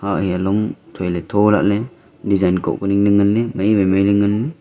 ah eya long thoi le tho lah le design koh ku ning le ngan le maiwai mai le ngan le.